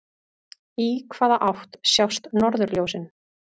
Í hvaða átt sjást norðurljósin?